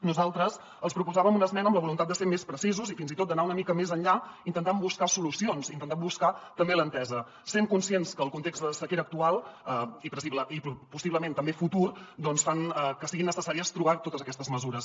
nosaltres els proposàvem una esmena amb la voluntat de ser més precisos i fins i tot d’anar una mica més enllà intentant buscar solucions intentant buscar també l’entesa sent conscients que el context de sequera actual i possiblement també futur fa que sigui necessari trobar totes aquestes mesures